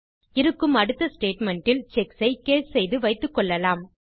இருக்கும் அடுத்த ஸ்டேட்மெண்ட் இல் செக்ஸ் ஐ கேஸ் செய்து வைத்துக்கொள்ளலாம்